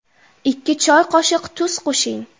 Ikki choy qoshiq tuz qo‘shing.